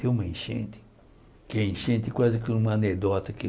Deu uma enchente, que a enchente quase que uma anedota.